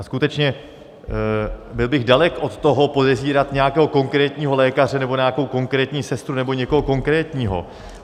A skutečně byl bych dalek od toho, podezírat nějakého konkrétního lékaře nebo nějakou konkrétní sestru nebo někoho konkrétního.